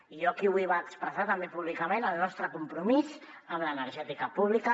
i jo aquí vull expressar també públicament el nostre compromís amb l’energètica pública